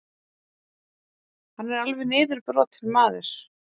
Hann er alveg niðurbrotinn maður.